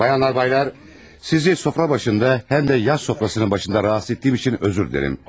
Xanımlar, bəylər, sizi süfrə başında, həm də yas süfrəsinin başında narahat etdiyim üçün üzr istəyirəm.